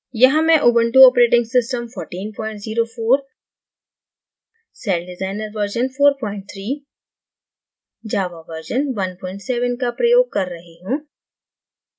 यहाँ मैं ubuntu operating system 1404 celldesigner version 43 java version 17 का प्रयोग कर रही हूँ